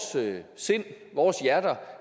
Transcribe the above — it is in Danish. sind vores hjerter